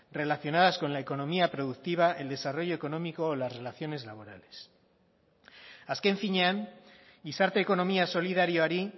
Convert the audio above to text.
relacionadas con la economía productiva el desarrollo económico o las relaciones laborales azken finean gizarte ekonomia solidarioari